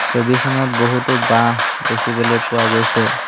ছবিখনত বহুতো বাঁহ দেখিবলৈ পোৱা গৈছে।